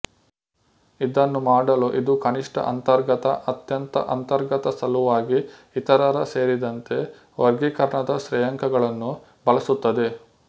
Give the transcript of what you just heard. ಇದನ್ನು ಮಾಡಲು ಇದು ಕನಿಷ್ಠ ಅಂತರ್ಗತ ಅತ್ಯಂತ ಅಂತರ್ಗತ ಸಲುವಾಗಿ ಇತರರ ಸೇರಿದಂತೆ ವರ್ಗೀಕರಣದ ಶ್ರೇಯಾಂಕಗಳನ್ನು ಬಳಸುತ್ತದೆ